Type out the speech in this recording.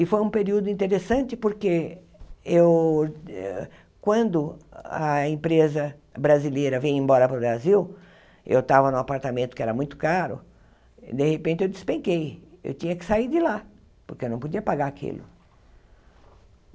E foi um período interessante porque eu quando a empresa brasileira vinha embora para o Brasil, eu estava em um apartamento que era muito caro, de repente eu despenquei, eu tinha que sair de lá, porque eu não podia pagar aquilo.